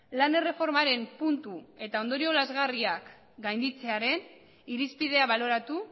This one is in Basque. lan erreformaren puntu eta ondorio lazgarriak gainditzearen irizpidea baloratu